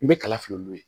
N bɛ kala fili n'o ye